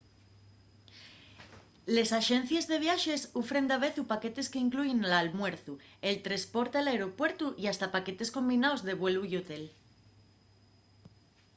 les axencies de viaxes ufren davezu paquetes qu’incluyen l’almuerzu el tresporte al aeropuertu y hasta paquetes combinaos de vuelu y hotel